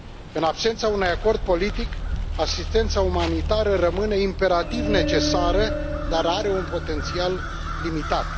În absența unui acord politic, asistența umanitară rămâne imperativ necesară, dar are un potențial limitat.